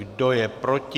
Kdo je proti?